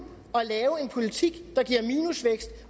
at lave en politik der giver minusvækst